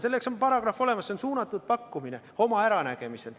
Selleks on paragrahv olemas, see on suunatud pakkumine oma äranägemisel.